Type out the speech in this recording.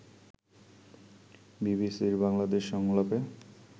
বিবিসির বাংলাদেশ সংলাপে